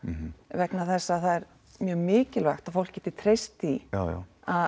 vegna þess að það er mjög mikilvægt að fólk geti treyst því að